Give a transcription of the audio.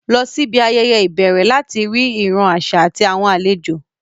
Lọ síbi ayẹyẹ ìbẹ̀rẹ̀ láti rí ìran àṣà àti àwọn àlejò